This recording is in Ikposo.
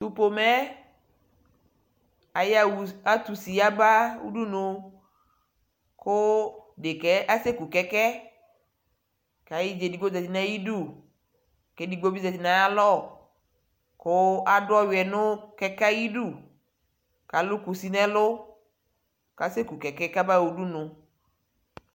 Tu pomɛɛ atusi yaba udunu ku dekɛɛ asɛku kɛkɛ kayiɖʒa edigbo ƶati nayiduu kedigbobi ƶati nayalɔ kuu adu ɔwiɛ nu kɛkɛ ayidu kalu kusi nɛɛlu kasɛku kɛkɛ kabaɣa udunu